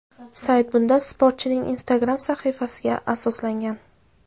Sayt bunda sportchining Instagram sahifasiga asoslangan.